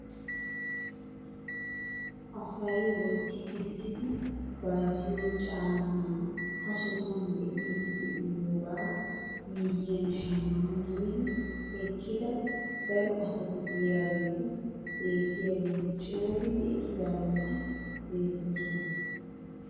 Asay wotti kessidi bayzziyoo caammaa ha sohuwaan be'idi de'iyoogaa miyiyaan shamman giidi eqqida daro asati de'iyaageti beettiyaageti cogidi eqqidaageti beettoosona.